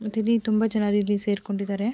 ಮತ್ತಿಲ್ಲಿ ತುಂಬಾ ಜನರು ಇಲ್ಲಿ ಸೇರಿಕೊಂಡಿದ್ದಾರೆ.